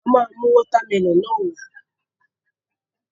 A máa mú water melon náà wá